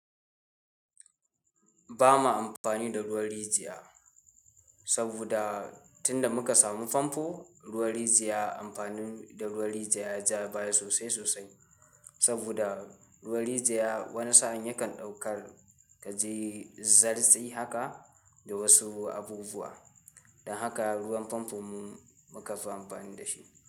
Bama amfani da ruwan rijiya, saboda tunda muka samu famfo, ruwan rijiya amfanin da ruwan rijiya yaja baya sosai sosai. Saboda ruwan rijiya wani sa'in yakan ɗaukar kaji, zartsi haka da wasu abubuwa. Don haka ruwan famfo mu muka fi amfani dashi.